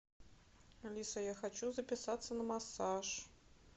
алиса я хочу записаться на массаж